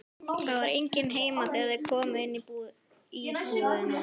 Það var enginn heima þegar þeir komu inn í íbúðina.